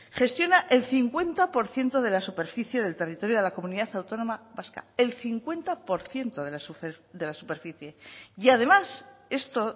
gestiona el cincuenta por ciento de la superficie del territorio de la comunidad autónoma vasca el cincuenta por ciento de la superficie y además esto